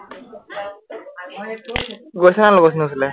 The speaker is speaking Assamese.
গৈছনে নাই লগৰখনিৰ ওচৰলে?